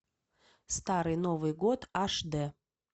старый новый год аш дэ